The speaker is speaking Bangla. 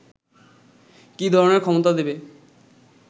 কি ধরনের ক্ষমতা দেবে